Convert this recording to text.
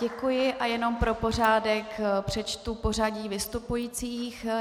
Děkuji a jenom pro pořádek přečtu pořadí vystupujících.